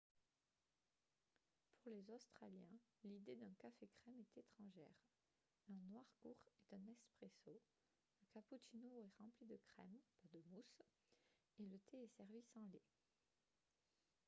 pour les australiens l'idée d'un « café crème » est étrangère. un noir court est un « espresso » le cappuccino est rempli de crème pas de mousse et le thé est servi sans lait